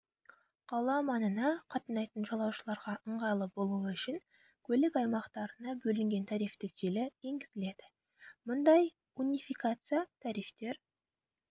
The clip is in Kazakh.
қала маңына қатынайтын жолаушыларға ыңғайлы болуы үшін көлік аймақтарына бөлінген тарифтік желі енгізіледі мұндай унификация тарифтер